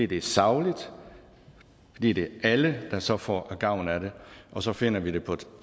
det er sagligt og fordi det er alle der så får gavn af det og så finder vi det på et